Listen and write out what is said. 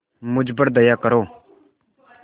मुझ पर दया करो